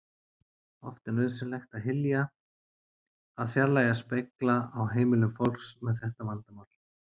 Oft er nauðsynlegt að hylja að fjarlægja spegla á heimilum fólks með þetta vandamál.